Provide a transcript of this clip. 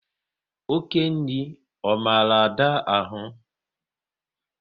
Oké nri ọ maru Ada ahụ?